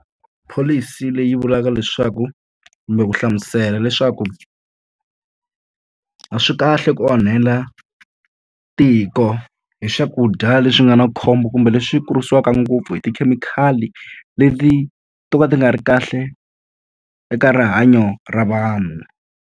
Pholisi leyi vulaka leswaku kumbe ku hlamusela leswaku a swi kahle ku onhela tiko hi swakudya leswi nga na khombo kumbe leswi kurisiwaka ngopfu hi tikhemikhali, leti to ka ti nga ri kahle eka rihanyo ra vanhu.